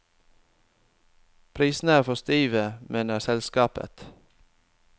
Prisene er for stive, mener selskapet.